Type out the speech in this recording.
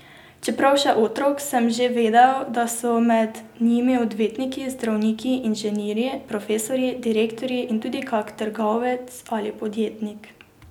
Čeprav še otrok, sem že vedel, da so med njimi odvetniki, zdravniki, inženirji, profesorji, direktorji in tudi kak trgovec ali podjetnik.